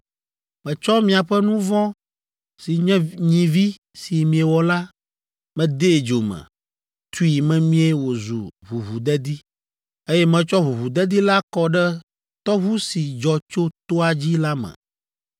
Metsɔ miaƒe nu vɔ̃ si nye nyivi si miewɔ la, medee dzo me, tui memie wòzu ʋuʋudedi, eye metsɔ ʋuʋudedi la kɔ ɖe tɔʋu si dzɔ tso toa dzi la me.